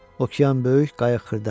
Okean böyük, qayıq xırda.